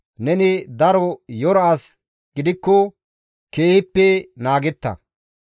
Neni daro yora as gidikko, keehippe naagetta.